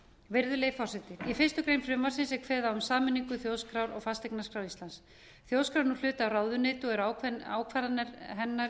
virðulegi forseti í fyrstu grein frumvarpsins er kveðið á um sameiningu þjóðskrár og fasteignaskrár íslands þjóðskrá er nú hluti af ráðuneyti og eru ákvarðanir hennar